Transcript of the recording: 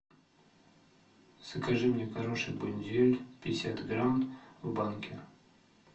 закажи мне горошек бондюэль пятьдесят грамм в банке